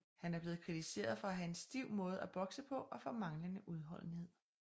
Han er blevet kritiseret for at have en stiv måde at bokse på og for manglende udholdenhed